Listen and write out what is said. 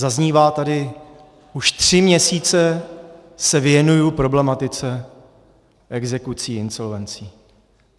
Zaznívá tady: už tři měsíce se věnuji problematice exekucí, insolvencí.